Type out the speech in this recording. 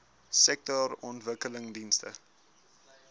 sektorontwikkelingdienste